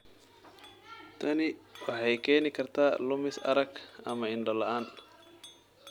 Tani waxay keeni kartaa lumis arag ama indho la'aan.